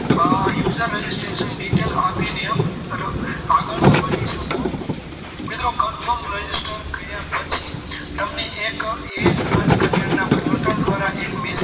User registration detail આપીને આગળ વધી શકો મિત્રો confirm password કર્યા પછી તમને એક ઈ સમાજ કલ્યાણના પોર્ટલ દ્વારા એક message